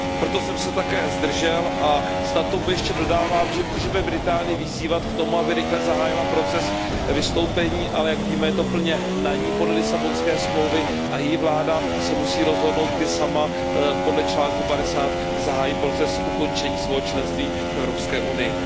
Proto jsem se také zdržel a snad k tomu ještě dodávám, že můžeme Británii vyzývat k tomu, aby rychle zahájila proces vystoupení, ale jak víme, je to plně na ní podle Lisabonské smlouvy a její vláda se musí rozhodnout, kdy sama podle článku 50 zahájí proces ukončení svého členství v Evropské unii.